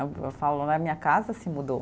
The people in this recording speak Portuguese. Eu falo né, a minha casa se mudou.